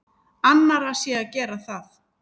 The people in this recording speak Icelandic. Annarra sé að gera það.